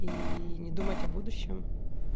ии не думать о будущем